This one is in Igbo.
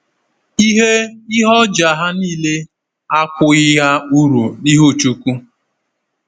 Ihe Ihe ọjà ha niile akwụghị ha uru n’ihu Chineke.